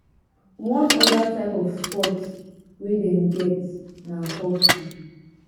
one other type of sports wey dem get na hockey.